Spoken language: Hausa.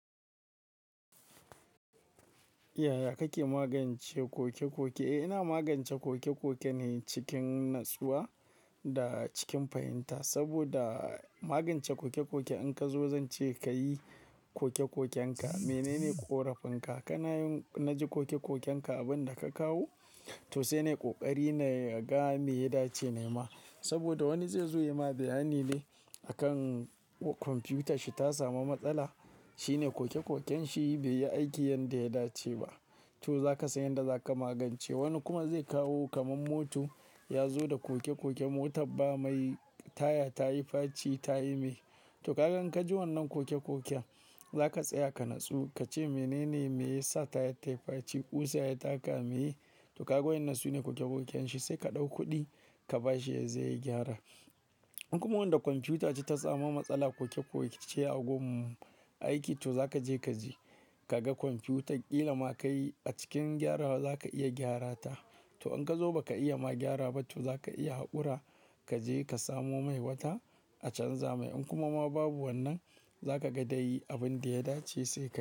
Yaya kake magance koke-koke? Eh, ina magance koke-koke ne cikin natsuwa da cikin fahimta saboda magance koke-koke in ka zo zan ce ka yi koke-koken ka. Menene ƙorafin ka? Kana yin-- na ji koke-koken ka abin da ka kawo to sai ne ƙoƙari naga me ya dace na yi ma. Saboda wani zai zo yayi ma bayani ne a kan kwamfiyutar shi ta samu matsala. Shine koke-koken shi bai yi aiki yanda ya dace ba. To zaka san yanda zaka magance. Wani kuma zai kawo kaman moto ya zo da koke-koke motar ba mai, taya ta yi faci ta yi me. To kaga in kaji wannan koke-koken za ka tsaya ka natsu, ka ce menene me ya sa tayar ta yi faci, ƙusa ya taka me? To kaga wa'innan sune koke-koken shi sai ka ɗau kuɗi ka ba shi ya je ya gyara. In kuma wanda kwamfiyuta ce ta samu matsala koke-koke ce a gun aiki, to zaka je ka ji, ka ga kwamfiyutar ƙila ma kai a cikin gyarawa za ka iya gyara ta. To in kazo baka iya ma gyara ba to zaka iya haƙura kaje ka samo mai wata a canza mai. In kuma ma babu wannan za ka ga dai abin da ya dace sai ka.